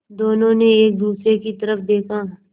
दोनों ने एक दूसरे की तरफ़ देखा